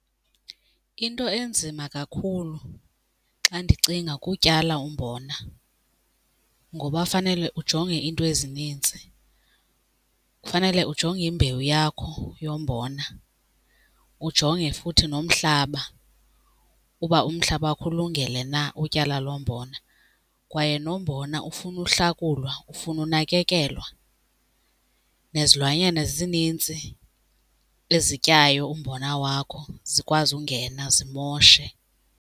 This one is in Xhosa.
Into enzima kakhulu xa ndicinga kutyala umbona ngoba fanele ujonge iinto ezinintsi. Kufanele ujonge imbewu yakho yombona, ujonge futhi nomhlaba uba umhlaba wakho ulungele na utyala lo mbona kwaye nombona ufuna uhlakulwa, ufuna unakekelwa. Nezilwanyana zinintsi ezityayo umbona wakho, zikwazi ungena zimoshe.